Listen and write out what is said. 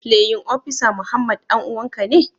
playin opisa Muhammad danuwan ka ne?